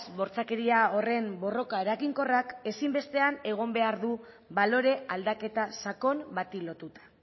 bortxakeria horren borroka eraginkorrak ezinbestean egon behar du balore aldaketa sakon bati lotuta